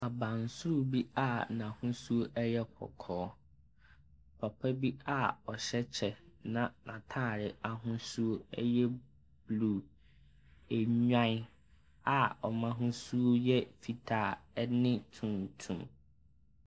Aban soro bi a n'ahosuo ne yɛ kɔkɔɔ. Papa bi a ɔhyɛ kyɛ na n'ataare n'ahosuo no yɛ blu, enwae a ɔmmu ahosuo no yɛ fitaa ɛne tuntum.